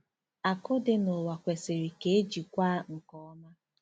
Akụ dị n'ụwa kwesịrị ka e jikwaa nke ọma.